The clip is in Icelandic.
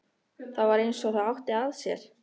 Það var eins og það átti að sér.